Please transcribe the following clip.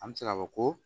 An bɛ se k'a fɔ ko